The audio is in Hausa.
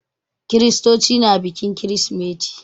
Kiristoci na bikin kirsimeti.